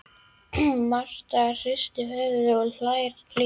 Marta hristir höfuðið og hlær líka.